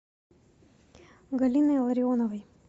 галиной ларионовой